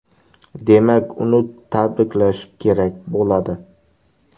Demak, uni tabriklash kerak bo‘ladi”.